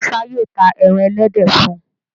Musa yíò tá èràn elédè fún.